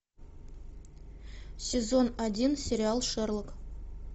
сезон один сериал шерлок